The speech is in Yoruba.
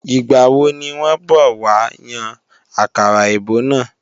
Ìgbàwo ní wọ́n bọ̀ wá yan àkàrà èbó náà?